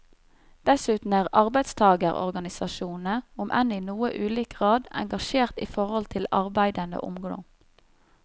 Dessuten er arbeidstagerorganisasjonene, om enn i noe ulik grad, engasjert i forhold til arbeidende ungdom.